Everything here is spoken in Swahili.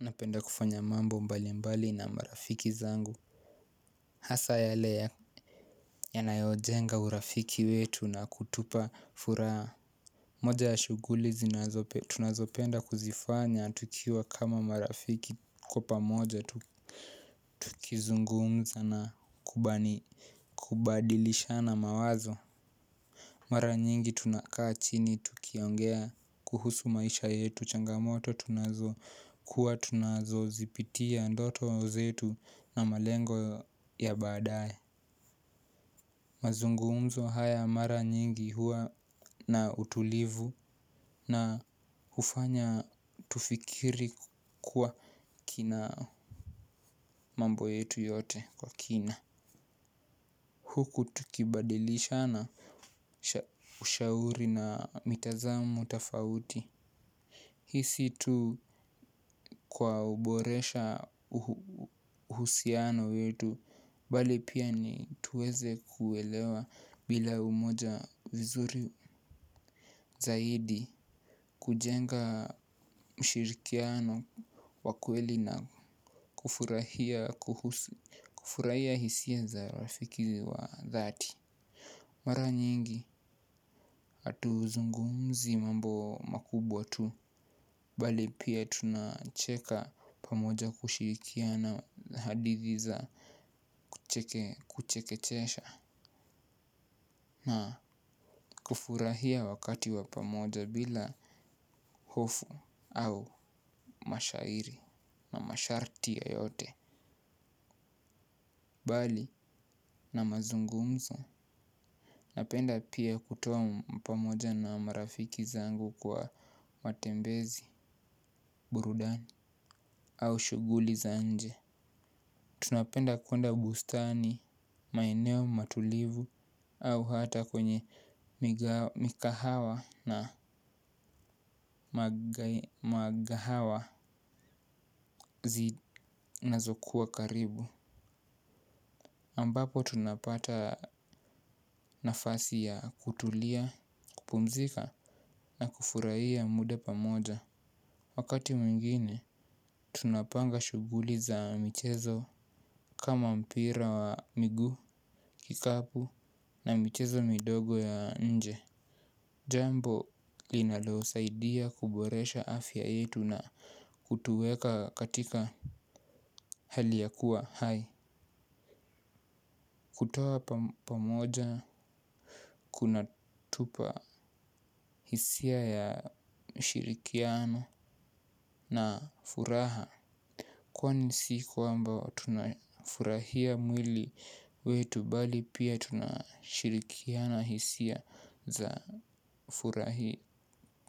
Napenda kufanya mambo mbalimbali na marafiki zangu. Hasa yale yanayo jenga urafiki wetu na kutupa furaha. Moja ya shughuli tunazopenda kuzifanya tukiwa kama marafiki kwapa moja tukizungumza na kubadilisha na mawazo. Mara nyingi tunakaa chini tukiongea kuhusu maisha yetu changamoto tunazo kuwa tunazo zipitia ndoto zetu na malengo ya baadaye mazungumzo haya mara nyingi huwa na utulivu na hufanya tufikiri mambo yetu yote kwa kina huku tukibadilisha na ushauri na mitazamo tofauti. Hiisi tu kwa uboresha uhusiano wetu bali pia ni tuweze kuelewa bila umoja vizuri zaidi kujenga mshirikiano wakweli na kufurahia hisia za rafiki wa dhati. Mara nyingi hatu zungumzi mambo makubwa tu bali pia tunacheka pamoja kushirikia na hadithiza kuchekechesha na kufurahia wakati wa pamoja bila hofu au mashairi na masharti yoyote. Bali na mazungumzo. Napenda pia kutoa pamoja na marafiki zangu kwa matembezi burudani au shughuli za nje tunapenda kwenda bustani maeneo matulivu au hata kwenye mikahawa na magahawa zi nazokuwa karibu ambapo tunapata nafasi ya kutulia, kupumzika na kufurahia muda pamoja. Wakati mwingine, tunapanga shughuli za michezo. Kama mpira wa miguu, kikapu na michezo midogo ya nje. Jambo linaloosaidia kuboresha afya yetu na kutuweka katika hali ya kuwa hai. Kutoa pamoja kuna tupa hisia ya ushirikiano na furaha. Kwa ni siku ambayo tunafurahia mwili wetu bali pia tunashirikiana hisia za